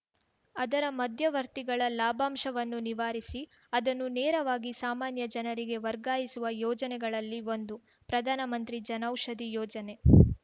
ಆದರ ಮಧ್ಯವರ್ತಿಗಳ ಲಾಭಾಂಶವನ್ನು ನಿವಾರಿಸಿ ಅದನ್ನು ನೇರವಾಗಿ ಸಾಮಾನ್ಯ ಜನರಿಗೆ ವರ್ಗಾಯಿಸುವ ಯೋಜನೆಗಳಲ್ಲಿ ಒಂದು ಪ್ರಧಾನಮಂತ್ರಿ ಜನೌಷಧಿ ಯೋಜನೆ